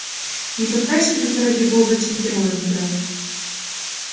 не пытайся только ради бога тем героя играть